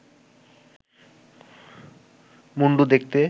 মুণ্ডু দেখতে